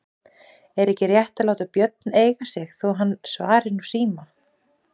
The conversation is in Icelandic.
Er ekki rétt að láta Björn eiga sig þó svo hann svari nú síma?